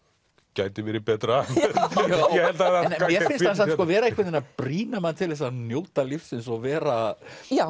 gæti verið betra mér finnst hann vera einhvern veginn að brýna mann til þess að njóta lífsins og vera